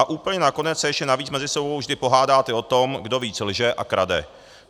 A úplně nakonec se ještě navíc mezi sebou vždy pohádáte o tom, kdo víc lže a krade.